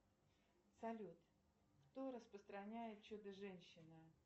салют кто распостраняет чудо женщина